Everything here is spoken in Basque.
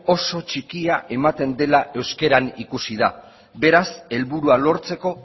oso txikia ematen dela euskaran ikusi da beraz helburua lortzeko